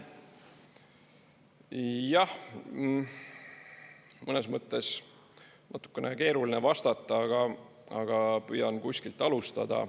Jah, mõnes mõttes natukene keeruline vastata, aga püüan kuskilt alustada.